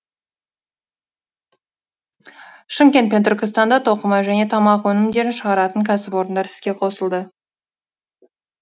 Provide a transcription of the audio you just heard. шымкент пен түркістанда тоқыма және тамақ өнімдерін шығаратын кәсіпорындар іске қосылды